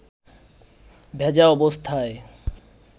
ভেজা অবস্থায়